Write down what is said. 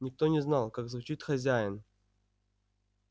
никто не знал как звучит хозяин